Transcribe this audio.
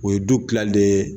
O ye du tila dɛɛ